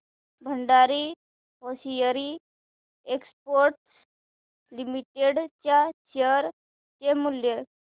Bhandari hosiery exports limited च्या share चे मूल्य